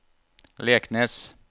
Leknes